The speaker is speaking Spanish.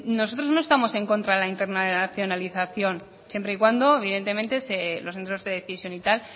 nosotros no estamos en contra de la internacionalización siempre y cuando evidentemente los centros de decisión y tal